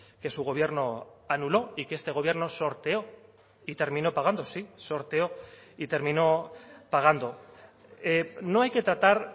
que su gobierno anuló y que este gobierno sorteó y terminó pagando sí sorteó y terminó pagando no hay que tratar